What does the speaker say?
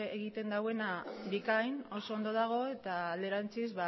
egiten duena bikain oso ondo dago eta alderantziz